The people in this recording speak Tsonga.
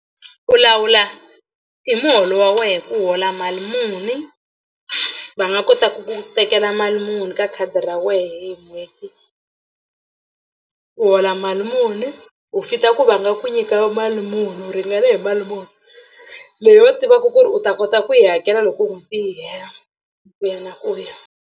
U lawula hi muholo wa wena ku u hola mali muni va nga kotaka ku tekela mali muni ka khadi ra wena hi n'hweti u hola mali muni u fit-a ku va nga ku nyika mali muni u ringane hi mali muni leyi va tivaka ku ri u ta kota ku yi hakela loko n'hweti yi hela ku ya na ku ya.